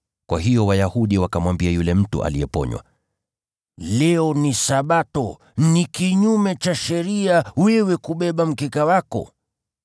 Kwa hiyo Wayahudi wakamwambia yule mtu aliyeponywa, “Leo ni Sabato, si halali wewe kubeba mkeka wako.”